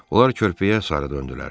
Onlar körpüyə sarı döndülər.